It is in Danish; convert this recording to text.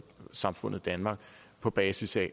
samfundet danmark på basis af